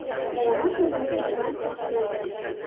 Damas o‘zini o‘zi band qilish bo‘ldi.